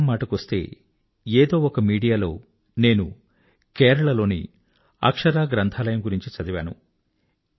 చదవడం మాటకొస్తే ఏదో ఒక మీడియాలో నేను కేరళ లోని అక్షరా లైబ్రరీ గురించి చదివాను